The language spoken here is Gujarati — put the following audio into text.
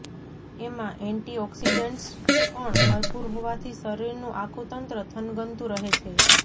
એમાં એન્ટી ઓક્સિડન્ટ્સ પણ ભરપુર હોવાથી શરીરનું આખું તંત્ર થનગનતું રહે છે